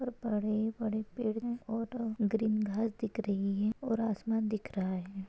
और बड़े बड़े पेड़ है और ग्रीन घास दिख रही है और आसमान दिख रहा है।